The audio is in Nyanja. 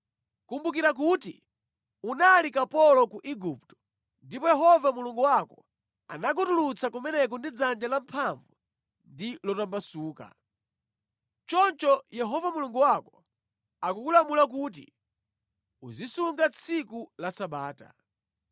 Kumbukira kuti unali kapolo ku Igupto ndipo Yehova Mulungu wako anakutulutsa kumeneko ndi dzanja lamphamvu ndi lotambasuka. Choncho Yehova Mulungu wako akukulamula kuti uzisunga tsiku la Sabata.